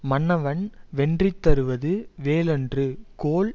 மன்னவன் வென்றி தருவது வேல் அன்று கோல்